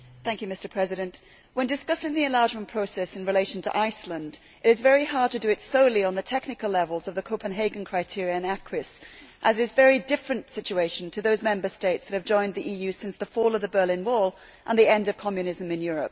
Mr President, when discussing the enlargement process in relation to Iceland, it is very hard to do so solely on the technical level of the Copenhagen criteria and acquis, as the situation is very different from that of those Member States that have joined the EU since the fall of the Berlin Wall and the end of Communism in Europe.